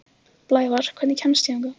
Blævar, hvernig kemst ég þangað?